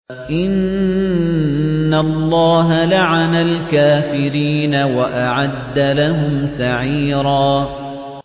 إِنَّ اللَّهَ لَعَنَ الْكَافِرِينَ وَأَعَدَّ لَهُمْ سَعِيرًا